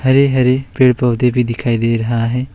हरे हरे पेड़ पौधे भी दिखाई दे रहा है।